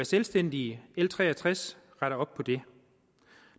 selvstændige l tre og tres retter op på det